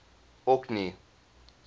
orkney